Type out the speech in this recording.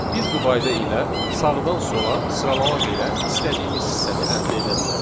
Biz bu qayda ilə sağdan sola sıralamaq ilə istədiyimiz hissəni əldə edə bilərik.